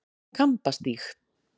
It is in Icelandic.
Kambastíg